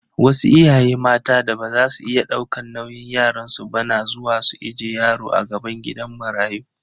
Wasu iyaye mata da baza su iya daukan nauyin yaransu ba na zuwa su ije yaro a gaban gidan marayu.